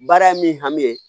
Baara ye min hami ye